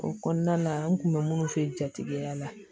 O kɔnɔna na n kun bɛ minnu fɛ jatigiya la